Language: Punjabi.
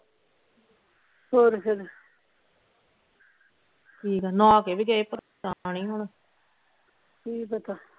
ਹੋਰ ਫੇਰ ਠੀਕ ਆ ਨਹਾ ਕੇ ਵੀ ਗਏ ਨਹੀਂ ਹੋਣਾਂ